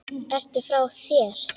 Ertu frá þér!?